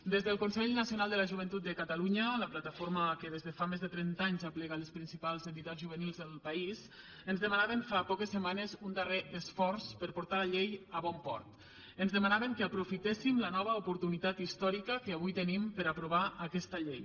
des del consell nacional de la joventut de catalunya la plataforma que des de fa més de trenta anys aplega les principals entitats juvenils del país ens demanaven fa poques setmanes un darrer esforç per portar la llei a bon port ens demanaven que aprofitéssim la nova oportunitat històrica que avui tenim per aprovar aquesta llei